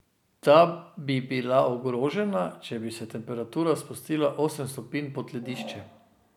Ta bi bila ogrožena, če bi se temperatura spustila osem stopinj pod ledišče.